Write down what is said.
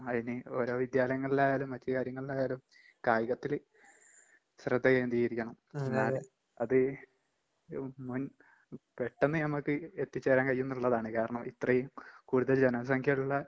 അയിന് ഓരോ വിദ്യാലയങ്ങളിലായാലും മറ്റ് കാര്യങ്ങളിലായാലും കായികത്തില് ശ്രദ്ധ കേന്ത്രീകരിക്കണം. അത് എഹ് മുൻ പെട്ടെന്ന് ഞമ്മക്ക് എത്തിച്ചേരാൻ കഴിയൂന്ന്ള്ളതാണ്. കാരണം ഇത്രയും കൂടുതൽ ജനസംഖ്യിള്ള